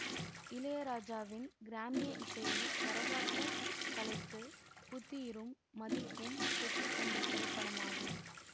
இளையராஜாவின் கிராமிய இசையில் கரகாட்டக் கலைக்கு புத்துயிரும் மதிப்பும் பெற்றுத்தந்த திரைப்படமாகும்